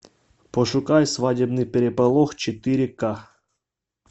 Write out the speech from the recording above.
пошукай свадебный переполох четыре ка